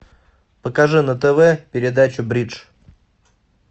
покажи на тв передачу бридж